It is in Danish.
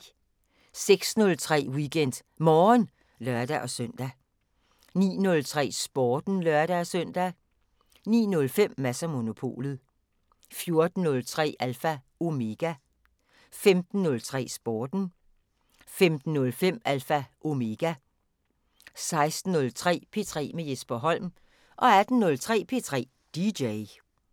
06:03: WeekendMorgen (lør-søn) 09:03: Sporten (lør-søn) 09:05: Mads & Monopolet 14:03: Alpha Omega 15:03: Sporten 15:05: Alpha Omega 16:03: P3 med Jesper Holm 18:03: P3 DJ